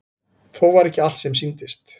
Þó var ekki allt sem sýndist.